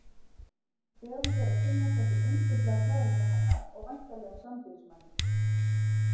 Þegar hún fer að kynnast þessum yndislega kærasta hennar og væntanlegum sambýlismanni.